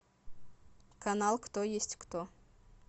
канал кто есть кто